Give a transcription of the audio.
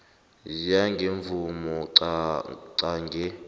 ziya ngemvumo qange